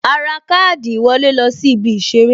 A ra káàdì ìwọlé lọ sí ibi Ìṣeré